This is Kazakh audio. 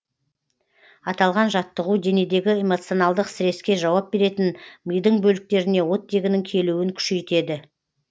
аталған жаттығу денедегі эмоционалдық стресске жауап беретін мидың бөліктеріне оттегінің келуін күшейтеді